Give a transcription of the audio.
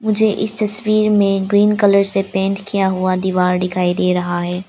मुझे इस तस्वीर में ग्रीन कलर से पेंट किया हुआ दीवार दिखाई दे रहा है।